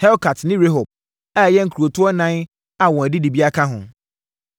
Helkat ne Rehob, a ɛyɛ nkurotoɔ ɛnan a wɔn adidibea ka ho.